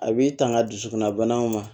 A b'i tanga dusukunna banaw ma